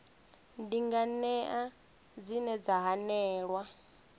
ndi nganea dzine dza hanelelwa